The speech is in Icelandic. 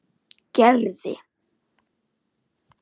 Gerði